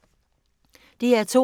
DR2